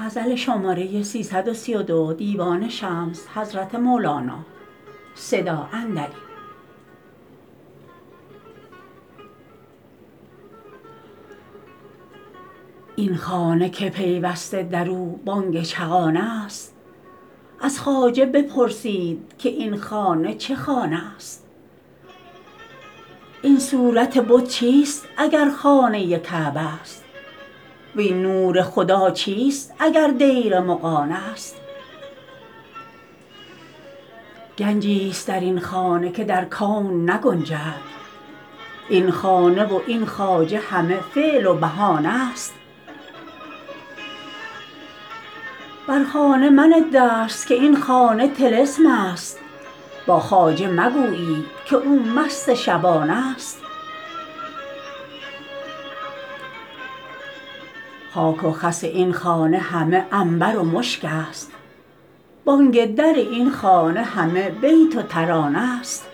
این خانه که پیوسته در او بانگ چغانه ست از خواجه بپرسید که این خانه چه خانه ست این صورت بت چیست اگر خانه کعبه ست وین نور خدا چیست اگر دیر مغانه ست گنجی ست در این خانه که در کون نگنجد این خانه و این خواجه همه فعل و بهانه ست بر خانه منه دست که این خانه طلسم ست با خواجه مگویید که او مست شبانه ست خاک و خس این خانه همه عنبر و مشک ست بانگ در این خانه همه بیت و ترانه ست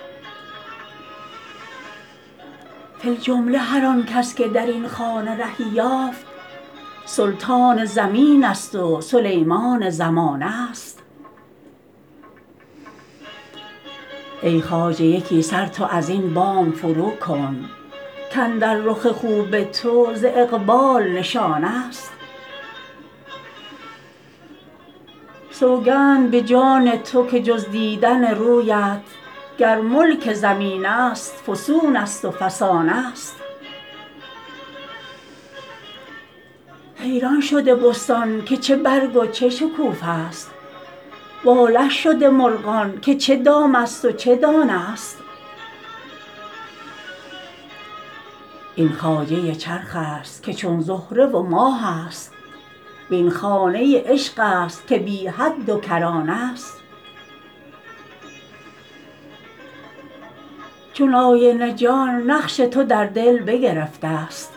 فی الجمله هر آن کس که در این خانه رهی یافت سلطان زمین ست و سلیمان زمانه ست ای خواجه یکی سر تو از این بام فروکن کاندر رخ خوب تو ز اقبال نشانه ست سوگند به جان تو که جز دیدن رویت گر ملک زمین ست فسون ست و فسانه ست حیران شده بستان که چه برگ و چه شکوفه ست واله شده مرغان که چه دام ست و چه دانه ست این خواجه چرخ ست که چون زهره و ماه ست وین خانه عشق است که بی حد و کرانه ست چون آینه جان نقش تو در دل بگرفته ست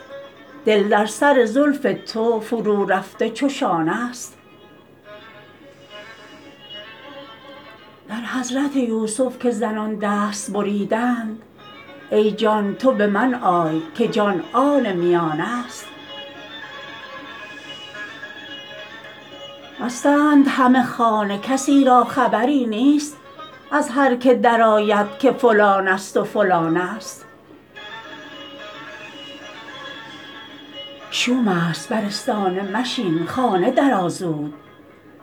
دل در سر زلف تو فرورفته چو شانه ست در حضرت یوسف که زنان دست بریدند ای جان تو به من آی که جان آن میانه ست مستند همه خانه کسی را خبری نیست از هر کی درآید که فلان ست و فلانه ست شوم ست بر آستانه مشین خانه درآ زود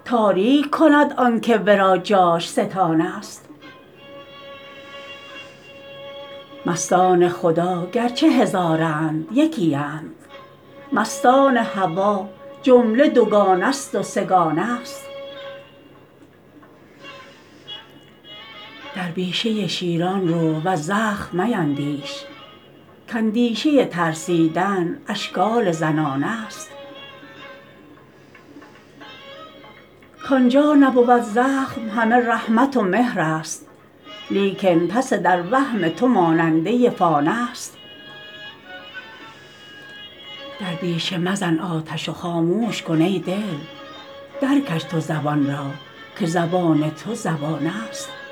تاریک کند آنک ورا جاش ستانه ست مستان خدا گرچه هزارند یکی اند مستان هوا جمله دوگانه ست و سه گانه ست در بیشه شیران رو وز زخم میندیش که اندیشه ترسیدن اشکال زنانه ست کان جا نبود زخم همه رحمت و مهر ست لیکن پس در وهم تو ماننده فانه ست در بیشه مزن آتش و خاموش کن ای دل درکش تو زبان را که زبان تو زبانه ست